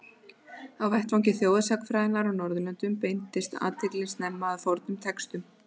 Á vettvangi þjóðsagnafræðinnar á Norðurlöndum beindist athyglin snemma að fornum textum.